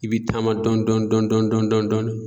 I bi taama dɔn dɔn dɔn dɔn dɔn dɔn dɔɔnI